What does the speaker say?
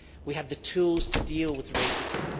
We have the tools to deal with racism.